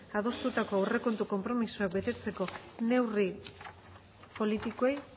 adostutako aurrekontu konpromisoak betetzeko neurri politikoei